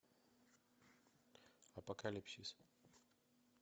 апокалипсис